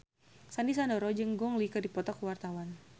Sandy Sandoro jeung Gong Li keur dipoto ku wartawan